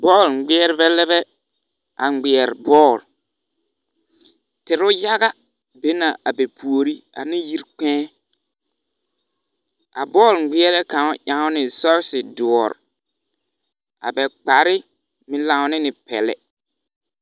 Bͻl ŋmeԑlebԑ le bԑ a ŋmeԑrԑ bͻl. teere yaga be la a ba puori ane yiri kpԑԑ. A bͻl ŋmeԑrebԑ kaŋ ene sͻͻse dõͻre. a ba kpare lanna ne le peԑle.